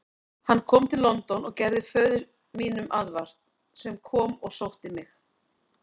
Hann kom til London og gerði föður mínum aðvart, sem kom og sótti mig.